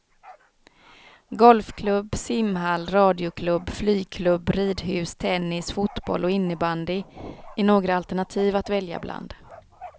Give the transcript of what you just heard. Golfklubb, simhall, radioklubb, flygklubb, ridhus, tennis, fotboll och innebandy är några alternativ att välja bland.